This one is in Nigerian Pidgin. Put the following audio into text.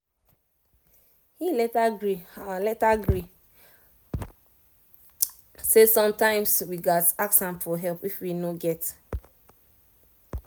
he later gree later gree say sometimes we gat ask am for help if we no get